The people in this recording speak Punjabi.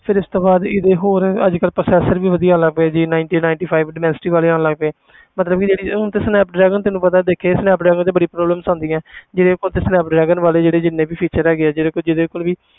ਫਿਰ ਇਸ ਤੋਂ ਬਾਅਦ ਇਹਦੇ ਹੋਰ ਅੱਜ ਕੱਲ੍ਹ processor ਵੀ ਵਧੀਆ ਆਉਣ ਲੱਗ ਪਏ j ninety ninety five ਡੋਮੈਸਟੀ ਵਾਲੇ ਆਉਣ ਲੱਗ ਪਏ ਮਤਲਬ ਕਿ ਜਿਹੜੀ ਹੁਣ ਤੇ ਸਨੈਪ ਡਰੈਗਨ ਤੈਨੂੰ ਪਤਾ ਦੇਖਿਆ ਸਨੈਪ ਡਰੈਗਨ ਤੇ ਬੜੀ problems ਆਉਂਦੀਆਂ ਜਿਹੜੇ phone ਤੇ ਸਨੈਪ ਡਰੈਗਨ ਵਾਲੇ ਜਿਹੜੇ ਜਿੰਨੇ ਵੀ feature ਹੈਗੇ ਜਿਹੜੇ ਜਿਹਦੇ ਕੋਲ ਵੀ